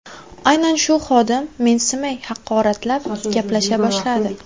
Aynan shu xodim mensimay, haqoratlab gaplasha boshladi.